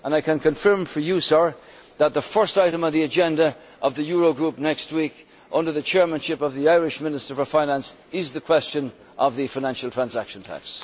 I can confirm for you that the first item on the agenda of the Euro Group next week, under the Chairmanship of the Irish Minister for Finance, is the question of the Financial Transaction Tax.